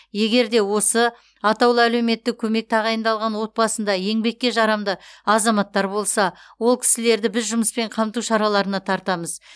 егер де осы атаулы әлеуметтік көмек тағайындалған отбасында еңбекке жарамды азаматтар болса ол кісілерді біз жұмыспен қамту шараларына тартамыз